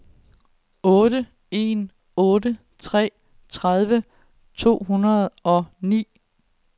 otte en otte tre tredive to hundrede og ni